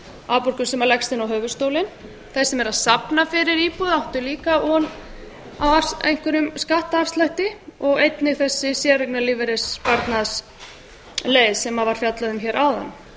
afborgun sem leggst inn á höfuðstólinn þeir sem eru að safna fyrir íbúð áttu líka von á einhverjum skattafslætti og einnig þessi séreignarlífeyrissparnaðarleið sem var fjallað um hér áðan